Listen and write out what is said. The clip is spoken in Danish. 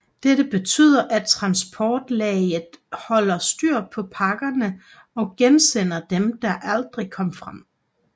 Dette betyder at transportlaget holder styr på pakkerne og gensender dem der aldrig kom frem